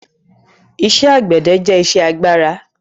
Iṣẹ́ àgbẹ̀dẹ jẹ́ iṣẹ́ agbára